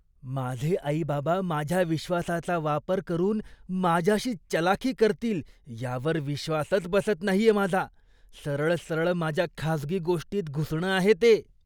माझे आई बाबा माझ्या विश्वासाचा वापर करून माझ्याशीच चलाखी करतील यावर विश्वासच बसत नाहीये माझा. सरळ सरळ माझ्या खाजगी गोष्टींत घुसणं आहे हे.